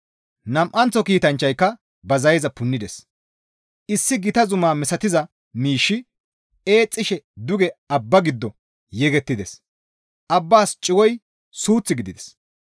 Nam7anththo kiitanchchayka ba zayeza punnides; issi gita zuma misatiza miishshi eexxishe duge abba giddo yegettides; abbaas cigoy suuth gidides.